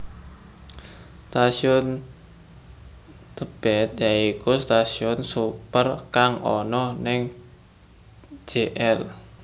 Stasiun Tebet yaiku stasiun sepur kang ana ning Jl